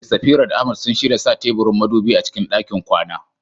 Eh, Safira da Ahmad sun shirya sa teburin madubi a cikin ɗakin kwana.